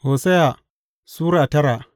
Hosiya Sura tara